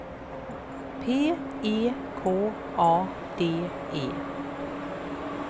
P E K A D E